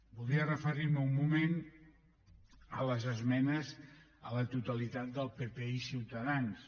voldria referir me un moment a les esmenes a la totalitat del pp i ciutadans